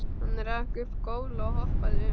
Hann rak upp gól og hoppaði um.